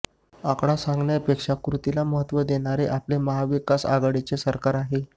आकडा सांगण्यापेक्षा कृतीला महत्व देणारे आपले महाविकास आघाडीचे सरकार आहे